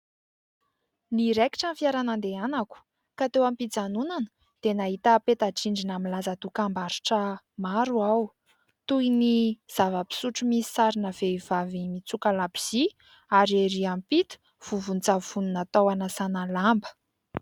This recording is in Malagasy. Niraikitra ny fiara nandehanako ka teo am-pijanonana dia nahita peta-drindrina milaza dokam-barotra maro aho, toy ny : zava-pisotro misy sarina vehivavy mitsoka labozia ary ery ampita vovon-tsavony natao hanasana lamba.